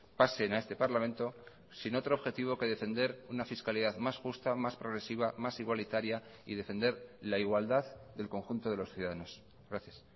pasen a este parlamento sin otro objetivo que defender una fiscalidad más justa más progresiva más igualitaria y defender la igualdad del conjunto de los ciudadanos gracias